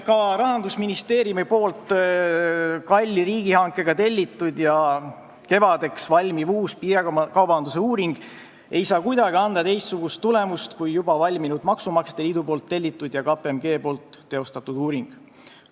Ka Rahandusministeeriumi kalli riigihankega tellitud ja kevadeks valmiv uus piirikaubanduse uuring ei saa kuidagi anda teistsugust tulemust kui juba valminud, maksumaksjate liidu tellitud ja KPMG teostatud uuring.